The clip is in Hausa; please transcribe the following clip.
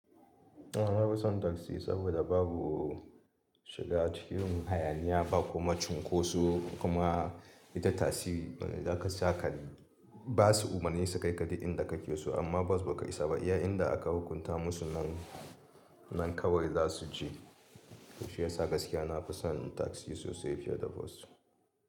A'a, ba na son taksi saboda babu shiga cikin hayaniya ba kuma cunkoso kuma ita taksi da ka sa kaɗi ba su umarnisu kai kaɗai inda ka ke so amma bas ba kai sababa. Iya inda aka hukunta musu nan nan kawai za su je. To shiyasa gaskiya na fi son taksi sosai fiye da bas.